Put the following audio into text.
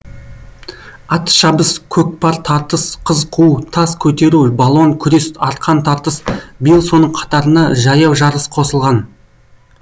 атшабыс көкпар тартыс қыз қуу тас көтеру балуан күрес арқан тартыс биыл соның қатарына жаяу жарыс қосылған